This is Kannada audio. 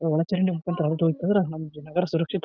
ವಾಚ್ ಅಂಗಡಿ ಅಂದ್ರ ನಮ್ದು ನಗರ ಸುರಕ್ಷಿತ--